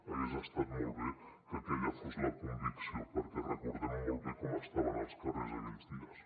hagués estat molt bé que aquella fos la convicció perquè recordem molt bé com estaven els carrers aquells dies